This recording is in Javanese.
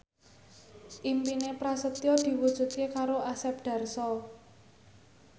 impine Prasetyo diwujudke karo Asep Darso